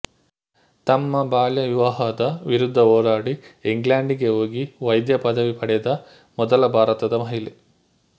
ತಮ್ಮ ಬಾಲ್ಯ ವಿವಾಹದ ವಿರುದ್ಧ ಹೋರಾಡಿ ಇಂಗ್ಲೆಂಡ್ ಗೆ ಹೋಗಿ ವೈದ್ಯ ಪದವಿ ಪಡೆದ ಮೊದಲ ಭಾರತದ ಮಹಿಳೆ